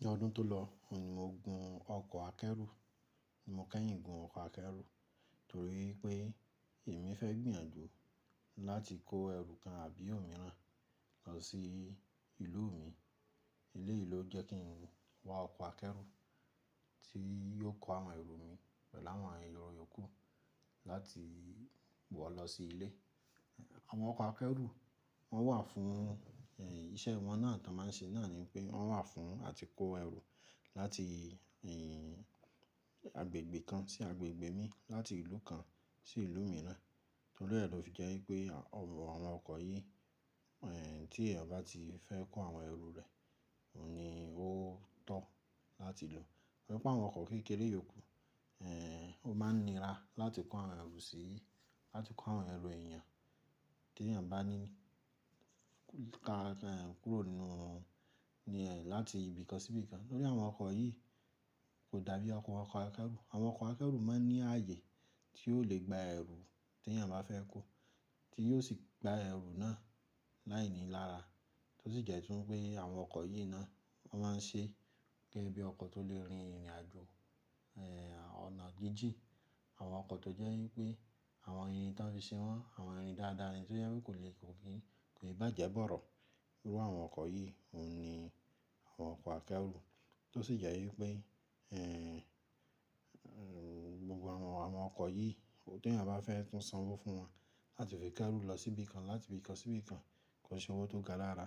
Ní ọdún tó lọ, òun ni mo gun ọkọ̀ akẹ́rù. Ni mo kẹ́yìn gun ọkọ̀ akẹrù torí pé èmi fẹ́ gbìyànjú láti kó ẹrù kan àbí òmíràn lọ sí ìlú mi. Eleyii lo jẹ́ kí n wá ọkọ̀ akẹ́rù tí yóò kó àwọn ẹrù mi pẹ̀lú àwọn èru iyòkú láti wọ̀ lọ sí ilé. Àwọn ọkọ̀ akẹ́rù, wọ́n wà fún, ẹ́, iṣẹ́ wọn náà tí wọ́n máa ń ṣe náà ni pé wọ́n wà fún àti kó ẹrù láti, ẹ́, agbègbè kan sí agbègbè mi, láti ìlú kan sí ìlú mìíràn. Torí ẹ́ lọ fi jẹ́ wipé àwọn ọkọ̀ yìí, ẹ́, tí èèyàn bá ti fẹ́ kó àwọn ẹrù rẹ̀, òun ni ó tọ́ láti lò. Ọ̀pọ̀ àwọn ọkọ̀ kékeré yòókù, ẹ́, ó máa ń nira láti kó àwọn ẹrù sí, láti kó àwọn ẹrù èèyàn tí èèyàn bá ní ka ẹ̀ kúrò nínú ní ẹ́, láti ibìkan sí ibìkan. Torí àwọn ọkọ̀ yìí kò dàbí àwọn ọkọ̀ akẹ́rù. Àwọn ọkọ̀ akẹ́rù máa ń ní ààyè tí ó lè gba ẹrù tí èèyàn bá fẹ́ kó, tí yóò sì gba ẹrù náà láìní lára. Tó sì jẹ́ tún pé àwọn ọkọ̀ yìí náà wọ́n máa ń ṣe gẹ́gẹ́ bí ọkọ̀ tó lè rin ìrìnàjò, ẹ́, ọ̀nà jíjì. Àwọn ọkọ̀ tó jẹ́ wípé àwọn irin tí wọ́n fi ṣe wọ́n, àwọn irin dáadáa ni tó jẹ́ wípé kò lè, kò kì í, kò í bàjẹ́ bọ̀rọ̀. Irú àwọn ọkọ̀ yìí òun ni àwọn ọkọ̀ akẹ́rù. Tó sì jẹ́ wípé, ẹ́, gbogbo àwọn, àwọn ọkọ̀ yìí tó tí èèyàn bá fẹ́ tún sanwó fún wọn láti fi kẹ́rù lọ sí ibìkan, láti ibìkan sí ibìkan, kò ṣe owó tó ga lára.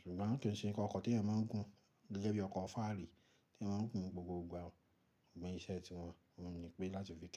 Ṣùgbọ́n kì í ṣe pé ọkọ̀ tí èèyàn máa ń gun gẹ́gẹ́ bí ọkọ̀ Farrí tí wọ́n ń gun gbogbo ìgbà o, iṣẹ́ tí wọn, wọn ni pé láti fi kó.